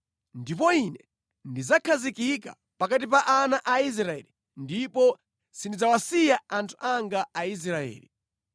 Ndipo Ine ndidzakhazikika pakati pa ana a Israeli ndipo sindidzawasiya anthu anga Aisraeli.”